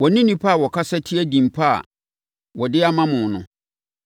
Wɔne nnipa a wɔkasa tia din pa a wɔde ama mo no.